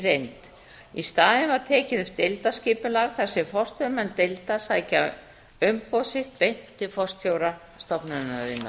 reynd í staðinn var tekið upp deildaskipulag þar sem forstöðumenn deilda sækja umboð sitt beint til forstjóra stofnunarinnar